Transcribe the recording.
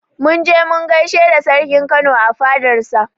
Mun je mun gaishe da sarkin Kano a fadar sa